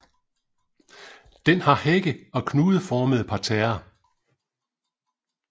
Den har hække og knudeformede parterrer